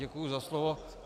Děkuji za slovo.